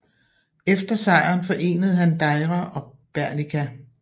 Efter sejren forenede han Deira og Bernicia